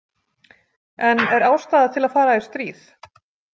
En er ástæða til að fara í stríð?